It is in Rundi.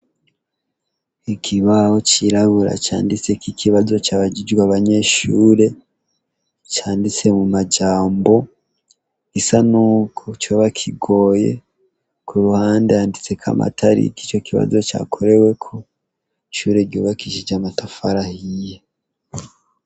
Ikibaho cirabura canditseko ikibazo cabajijwe abanyeshure, canditse mu majambo gisa naho coba kigoye, k'uruhande handitseko amatariki ico kibazo cakoreweko, ishure ryubakishijwe amatafari ahiye.